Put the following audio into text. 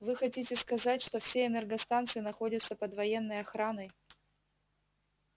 вы хотите сказать что все энергостанции находятся под военной охраной